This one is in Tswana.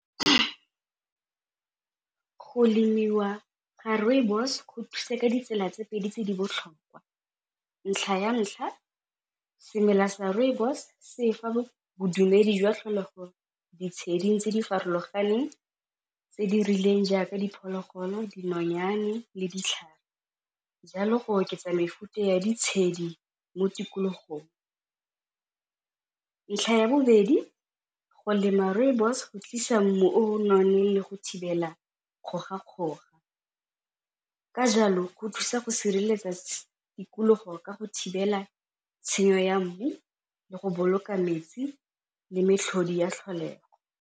Go lemiwa ga rooibos go thuse ka ditsela tse pedi tse di botlhokwa ntlha ya ntlha semela sa rooibos se fa bodumedi jwa tlholego ditshedi tse di farologaneng tse di rileng jaaka diphologolo, dinonyane, le ditlhare jalo go oketsa mefuta ya ditshedi mo tikologong. Ntlha ya bobedi go lema rooibos go tlisa mmu o nonne le go thibela ka jalo go thusa go sireletsa tikologo ka go thibela tshenyo ya mmu le go boloka metsi le metlhodi ya tlholego.